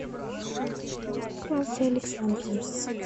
клавдия александровна